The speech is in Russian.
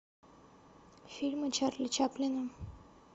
фильмы чарли чаплина